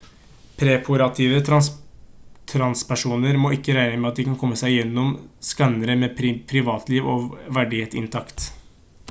preoperative transpersoner må ikke regne med at de kan komme seg gjennom skannerne med privatliv og verdighet intakt